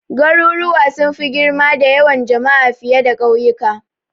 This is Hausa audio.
Garuruwa sun fi girma da yawan jama'a fiye da kauyuka.